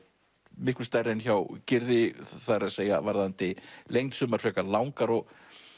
miklu stærri en hjá Gyrði það er að segja varðandi lengd sumar frekar langar og